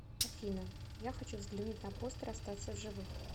афина я хочу взглянуть на постер остаться в живых